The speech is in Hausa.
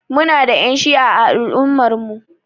Muna da Ƴan shi'a a al'ummar mu.